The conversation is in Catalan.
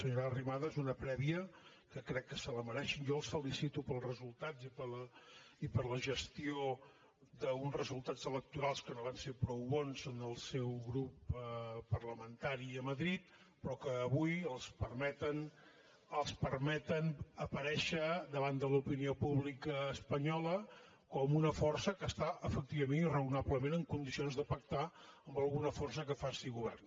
senyora arrimadas una prèvia que crec que se la mereix jo els felicito pels resultats i per la gestió d’uns resultats electorals que no van ser prou bons en el seu grup parlamentari a madrid però que avui els permeten els permeten aparèixer davant de l’opinió pública espanyola com una força que està efectivament i raonablement en condicions de pactar amb alguna força que faci govern